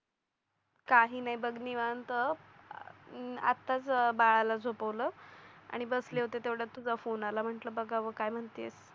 काही नाही बघ निवांत आत्ताच बाळाला झोपवलं आणि बसले होते तेवढ्यात तुझा फोन आला म्हटलं बघावं काय म्हणतेस